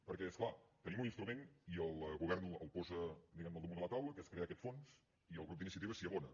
perquè és clar tenim un instrument i el govern el posa al damunt de la taula que és crear aquest fons i el grup d’iniciativa s’hi abona